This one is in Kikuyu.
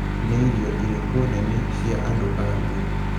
Nĩ irio irĩkũ nene cia andũ a Luo?